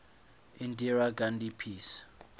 indira gandhi peace